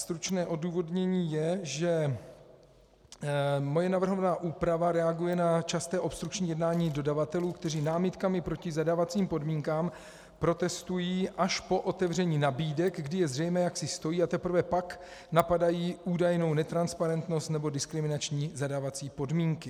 Stručné odůvodnění je, že moje navrhovaná úprava reaguje na časté obstrukční jednání dodavatelů, kteří námitkami proti zadávacím podmínkám protestují až po otevření nabídek, kdy je zřejmé, jak si stojí, a teprve pak napadají údajnou netransparentnost nebo diskriminační zadávací podmínky.